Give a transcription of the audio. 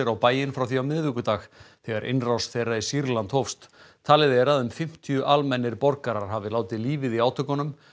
á bæinn frá því á miðvikudag þegar innrás þeirra í Sýrland hófst talið er að um fimmtíu almennir borgarar hafi látið lífið í átökunum